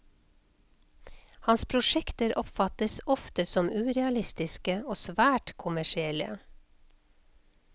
Hans prosjekter oppfattes ofte som urealistiske og svært kommersielle.